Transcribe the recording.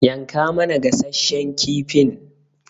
yanka mana gasasshen kifin.